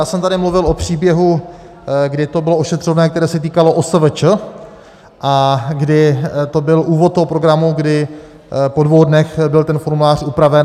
Já jsem tady mluvil o příběhu, kdy to bylo ošetřovné, které se týkalo OSVČ a kdy to byl úvod toho programu, kdy po dvou dnech byl ten formulář upraven.